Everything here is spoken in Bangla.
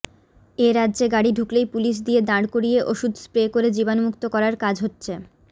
এই রাজ্যে গাড়ি ঢুকলেই পুলিশ দিয়ে দাঁড় করিয়ে ওষুধ স্প্রে করে জীবাণুমুক্ত করার কাজ হচ্ছে